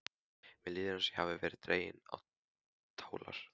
Mér líður eins og ég hafi verið dregin á tálar.